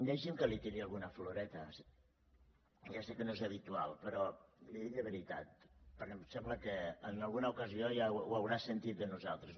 deixi’m que li tiri alguna floreta que ja sé que no és habitual però li ho dic de veritat perquè em sembla que en alguna ocasió ja ho deu haver sentit de nosaltres